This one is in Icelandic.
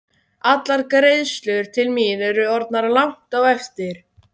Allar greiðslur til mín eru orðnar langt á eftir.